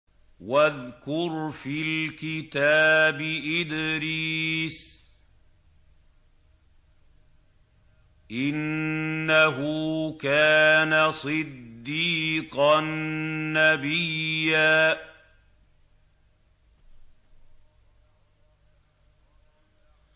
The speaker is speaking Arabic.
وَاذْكُرْ فِي الْكِتَابِ إِدْرِيسَ ۚ إِنَّهُ كَانَ صِدِّيقًا نَّبِيًّا